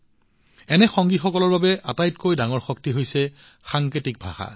এনে সংগীসকলৰ বাবে আটাইতকৈ ডাঙৰ শক্তি হৈছে সাংকেতিক ভাষা